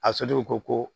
A ko